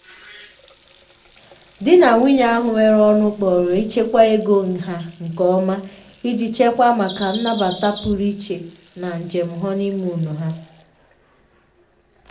di na nwunye ahụ nwere ọṅụ kpọrọ ichekwa ego ha nke ọma iji chekwaa maka nnabata pụrụ iche na njem honeymoon ha.